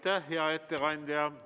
Aitäh, hea ettekandja!